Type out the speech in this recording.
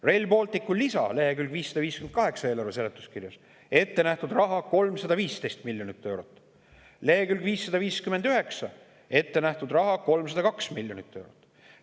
Rail Balticu lisa eelarve seletuskirja leheküljel 558: ettenähtud raha 315 miljonit eurot, lehekülg 559: ettenähtud raha 302 miljonit eurot.